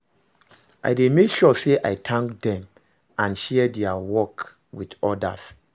I dey make sure say i thank dem and share dia work with odas.